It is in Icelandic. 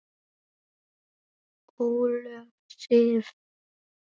Ólöf Sif.